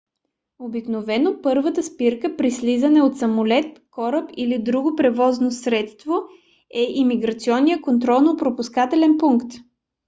обикновено първата спирка при слизане от самолет кораб или друго превозно средство е имиграционният контролно - пропускателен пункт